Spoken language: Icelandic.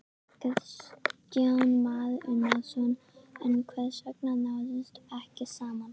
Kristján Már Unnarsson: En hvers vegna náðist ekki saman?